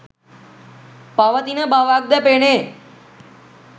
පවතින බවක්ද පෙනේ